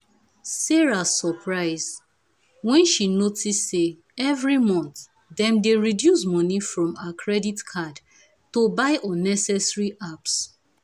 sarah suprise when she notice say every month dem dey reduce money from her credit card to buy unnecessary apps.